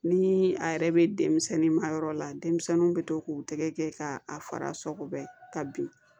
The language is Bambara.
Ni a yɛrɛ bɛ denmisɛnnin ma yɔrɔ la denmisɛnninw bɛ to k'u tɛgɛ kɛ k'a fara sɔgɔbɛ ka bin